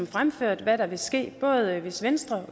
fremført hvad der vil ske både hvis venstre